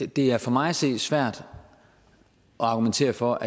det er for mig at se svært at argumentere for